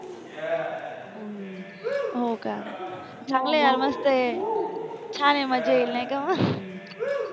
हो का चांगला यार मस्त आहे छान आहे मजा येईल नाही का मग